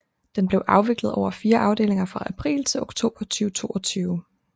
Den blev afviklet over fire afdelinger fra april til oktober 2022